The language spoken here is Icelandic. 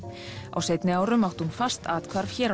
á seinni árum átti hún fast athvarf hér á